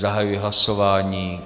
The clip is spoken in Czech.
Zahajuji hlasování.